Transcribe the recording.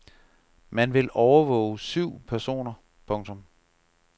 Man vil overvåge syv personer. punktum